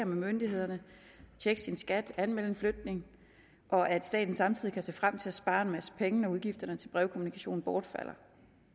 myndighederne tjekke sin skat anmelde en flygtning og at staten samtidig kan se frem til at spare en masse penge når udgifterne til brevkommunikation bortfalder